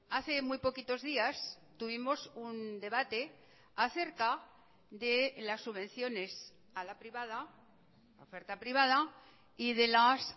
hace muy poquitos días tuvimos un debate acerca de las subvenciones a la privada oferta privada y de las